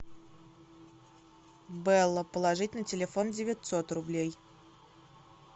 бэлла положить на телефон девятьсот рублей